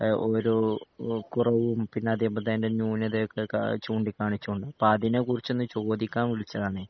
ഹ് ഓരോ കുറവും പിന്നേ അതേപോലെത്തെ അതിൻ്റെ ന്യൂനതകളൊക്കെ ചൂണ്ടിക്കാണിച്ചുകൊണ്ട് അപ്പോ അതിനെക്കുറിച്ചൊന്നു ചോദിക്കാൻ വിളിച്ചതാണേ